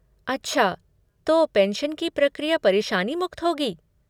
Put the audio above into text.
अच्छा, तो पेंशन की प्रक्रिया परेशानी मुक्त होगी?